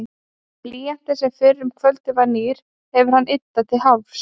Blýantinn, sem fyrr um kvöldið var nýr, hefur hann yddað til hálfs.